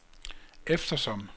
eftersom